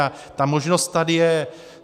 A ta možnost tady je.